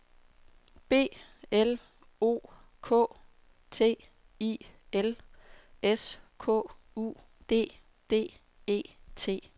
B L O K T I L S K U D D E T